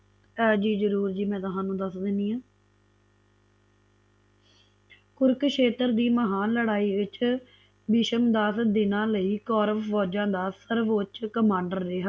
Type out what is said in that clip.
ਜੀ ਜਰੂਰ ਜੀ ਮੈ ਥੋਨੂੰ ਦਸ ਦੇਣੀ ਆ ਕੁਰੂਕਸ਼ੇਤਰ ਦੀ ਮਹਾਨ ਲੜਾਈ ਵਿੱਚ ਭੀਸ਼ਮ ਦਸ ਦਿਨਾਂ ਲਈ ਕੌਰਵ ਵਜਾ ਦਾ ਸਰਵੋੱਚ Commander ਰਿਆ